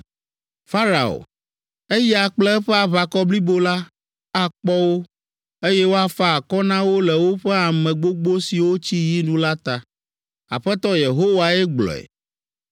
“Farao, eya kple eƒe aʋakɔ blibo la, akpɔ wo, eye woafa akɔ na wo le woƒe ame gbogbo siwo tsi yi nu la ta. Aƒetɔ Yehowae gblɔe.